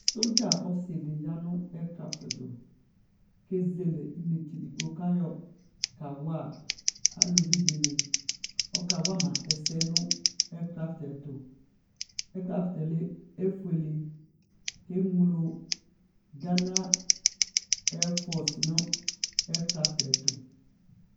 Sɔdza ɔsɩ dɩ ya nʋ ɛkraftɩ dɩ ɛtʋ, kʋ ezele inetse edigbo, kʋ ayɔ kawa aluvi dɩnɩ Ɔkawa la ɛsɛ nʋ ɛkraftɩ yɛ ɛtʋ Ɛkraftɩ yɛ efuele, kʋ eŋlo gana ɛfɔsɩ nʋ ɛkraftɩ yɛ ɛtʋ